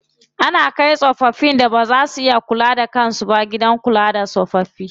Ana kai tsofaffin da baza su iya kula da kan su ba gidan kula da tsofaffi.